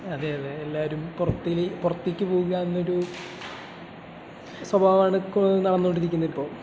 അതെയതെ. എല്ലാവരും പുറത്തേക്ക് പോകുക എന്നൊരു സ്വഭാവമാണ് നടന്നുകൊണ്ടിരിക്കുന്നതിപ്പോ.